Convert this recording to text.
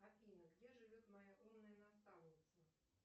афина где живет моя умная наставница